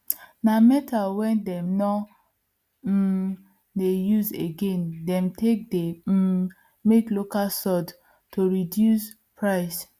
na metal wen them nor um dey use again them take they um make local soade to reduce price